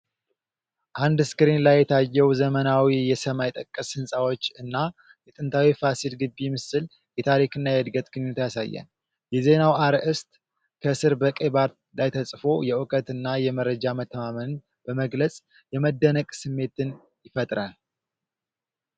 አንድ ስክሪን ላይ የታየው ዘመናዊ የሰማይ ጠቀስ ህንጻዎች እና የጥንታዊው ፋሲል ግቢ ምስል የታሪክና የእድገት ግንኙነትን ያሳያል። የዜናው አርዕስት ከስር በቀይ ባር ላይ ተጽፎ የእውቀትንና የመረጃ መተማመንን በመግለጽ የመደነቅ ስሜትን ይፈጥራል።